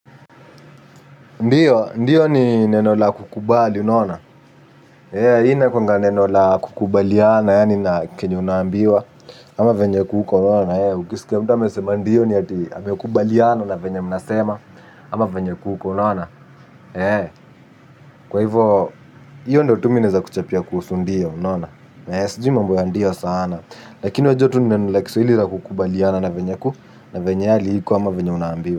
Ndiyo, ndiyo ni neno la kukubali, unaona. Inakuanga neno la kukubaliana, yani kenye unaambiwa, ama venye kuko, unaona. Ukisikia mtu amesema ndiyo ni yati, amekubaliana, na venye mnasema, ama venye kuko, unaona. Kwa hivo, hiyo ndio tu minaeza kuchapia kuhusu ndiyo, unaona. Sijui mambo ya ndiyo sana, lakini wewe jua tu ni neno la kiswahili la kukubaliana na venye kuko, na venye hali hiko, ama venye unambiwa.